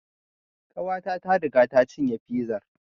Ƙawata ta riga ta cinye fizar